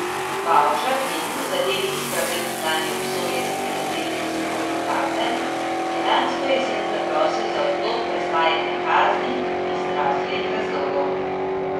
Bavčar, ki je bil v zadevi Istrabenz lani obsojen na sedemletno zaporno kazen, je lansko jesen zaprosil za odlog prestajanja kazni iz zdravstvenih razlogov.